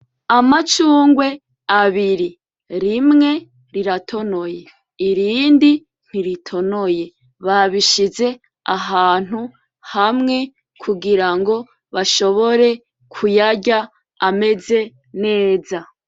Amacungwe abiri , rimwe riratonoye , irindi ntiritonoye babishize ahantu hamwe kugirango bashobore kuyarya ameze neza .